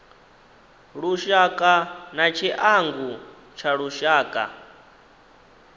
lushaka na tshiangu tsha lushaka